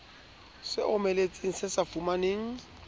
se omeletseng se sa fumaneng